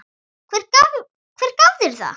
Hver gaf þér það?